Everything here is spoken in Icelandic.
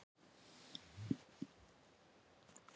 Berghildur: Og fær hún eins mikla athygli?